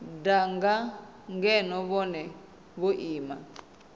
danga ngeno vhone vho ima